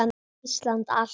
Íslandi allt!